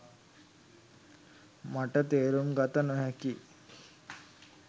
මට තේරුම් ගත නොහැකියි